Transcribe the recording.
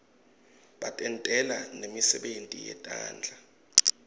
batentela nemisebenti yetandla